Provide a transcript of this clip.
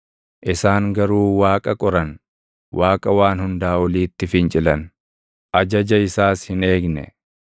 Isaan garuu Waaqa qoran; Waaqa Waan Hundaa Oliitti fincilan; ajaja isaas hin eegne.